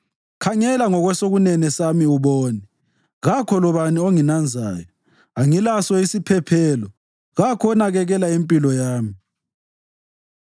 Khangela kwesokunene sami ubone; kakho lobani onginanzayo. Angilaso isiphephelo; kakho onakekela impilo yami.